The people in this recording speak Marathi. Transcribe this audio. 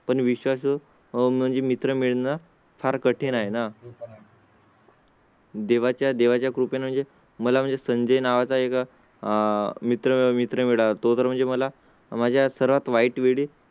पण विश्वास म्हणजे मित्र मिळणार फार कठीण आहे ना? देवाच्या देवाच्या कृपे म्हणजे मला म्हणजे संजय नावा च्या एका आह मित्र मित्र मिळतो तर म्हणजे मला माझ्या सर्वात वाईट विडी